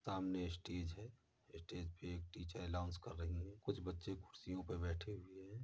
सामने स्टेज है। स्टेज पे एक टीचर अनाउंस कर रही हैं। कुछ बच्चे कुर्सियों पे बैठे हुये हैं।